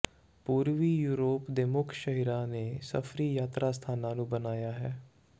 ਪੂਰਬੀ ਯੂਰੋਪ ਦੇ ਮੁੱਖ ਸ਼ਹਿਰਾਂ ਨੇ ਸਫਰੀ ਯਾਤਰਾ ਸਥਾਨਾਂ ਨੂੰ ਬਣਾਇਆ ਹੈ